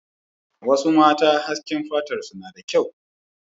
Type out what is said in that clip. Wasu mata hasken fatarsu na da kyau.